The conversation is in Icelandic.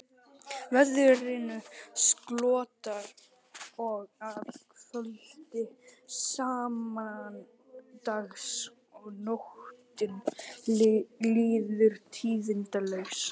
Veðrinu slotar að kvöldi sama dags og nóttin líður tíðindalaust.